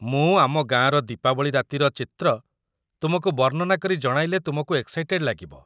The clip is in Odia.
ମୁଁ ଆମ ଗାଁର ଦୀପାବଳି ରାତିର ଚିତ୍ର ତୁମକୁ ବର୍ଣ୍ଣନା କରି ଜଣାଇଲେ ତୁମକୁ ଏକ୍‌ସାଇଟେଡ୍ ଲାଗିବ ।